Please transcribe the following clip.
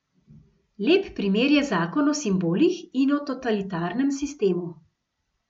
Lep primer je zakon o simbolih in o totalitarnem sistemu.